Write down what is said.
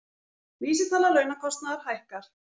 Vísitala launakostnaðar hækkar